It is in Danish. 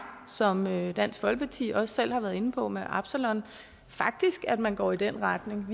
som dansk folkeparti også selv har været inde på med absalon at man går i den retning